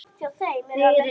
Þarna skilur á milli.